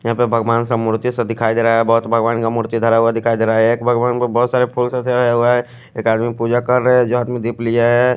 यहा पे भगवान सा मूर्ति सा दिखाई देरा है बहोत भगवान का मूर्ति धरा हुआ दिखाई देरा है एक भगवान पर बहोत सारे फुल सा चडाया हुआ है एक आदमी पूजा कर रहे है जो आदमी दीप लेजाये।